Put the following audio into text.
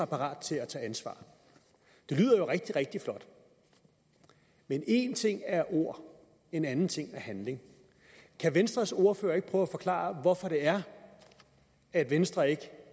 parat til at tage ansvar det lyder jo rigtig rigtig flot men en ting er ord en anden ting er handling kan venstres ordfører ikke prøve at forklare hvorfor det er at venstre ikke